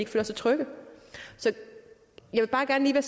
føler sig trygge så jeg vil bare gerne